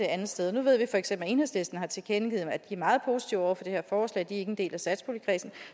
andet sted nu ved vi feks at enhedslisten har tilkendegivet at de er meget positive over for det her forslag de er ikke en del af satspuljekredsen